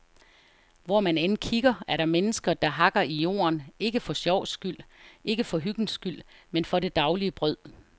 Hvor man end kigger, er der mennesker, der hakker i jorden, ikke for sjovs skyld, ikke for hyggens skyld, men for det daglige brød.